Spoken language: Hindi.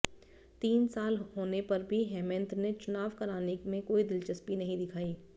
तीन साल होने पर भी हेमंत ने चुनाव कराने में कोई दिलचस्पी नहीं दिखाई